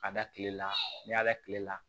Ka da kile la n'i y'a da kile la